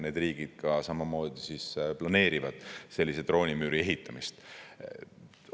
Need riigid samamoodi planeerivad sellise droonimüüri ehitamist.